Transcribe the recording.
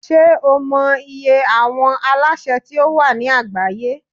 Ṣé o mọ iye àwọn alásè tí ó wà ní àgbáyé?